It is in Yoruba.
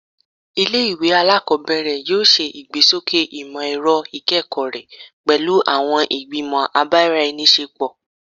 Ile-iwe alakọbẹrẹ yoo ṣe igbesoke imọ-ẹrọ ikẹkọ rẹ pẹlu awọn igbimọ ibaraenisepo